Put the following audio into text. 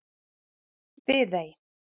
Viðey